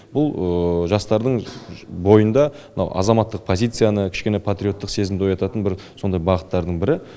бұл жастардың бойында мынау азаматтық позицияны кішкене патриоттық сезімді оятатын бір сондай бағыттардың бірі